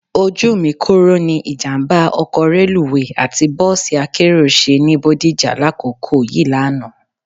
Ojú mi kòró ni ìjàmbá ọkọ̀ reluwé àti bọ́ọ̀sì akérò ṣe ní Bodija lákòókò yìí lánàá